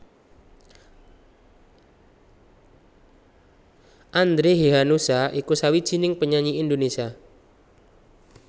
Andre Hehanussa iku sawijining penyanyi Indonesia